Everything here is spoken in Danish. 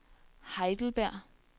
Heidelberg